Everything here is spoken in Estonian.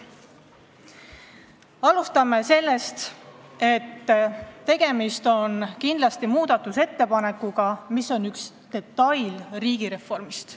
Alustame sellest, et tegemist on kindlasti muudatusettepanekuga, mis on üks detail riigireformist.